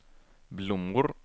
blommor